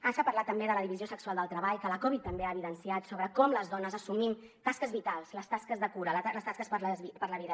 ens ha parlat també de la divisió sexual del treball que la covid també ha evidenciat sobre com les dones assumim tasques vitals les tasques de cura les tasques per la vida